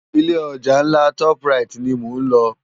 Ilé òjá nlá tòp ráyit ni mó nlò